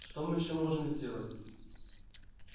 что мы ещё можем сделать